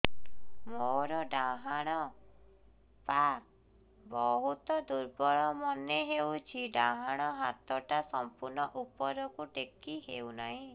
ମୋର ଡାହାଣ ପାଖ ବହୁତ ଦୁର୍ବଳ ମନେ ହେଉଛି ଡାହାଣ ହାତଟା ସମ୍ପୂର୍ଣ ଉପରକୁ ଟେକି ହେଉନାହିଁ